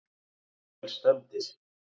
Við erum vel stemmdir